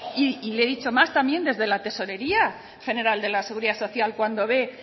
y le he dicho más también desde la tesorería general de la seguridad social cuando ve